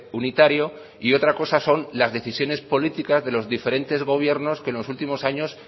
unitario y otra cosa son las decisiones políticas de los diferentes gobiernos que en los últimos años